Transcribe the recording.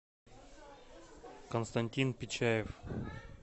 константин пичаев